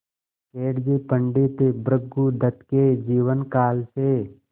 सेठ जी पंडित भृगुदत्त के जीवन काल से